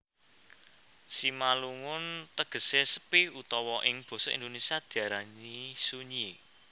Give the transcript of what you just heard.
Simalungun tegesé sepi utawa ing basa Indonesia diarani sunyi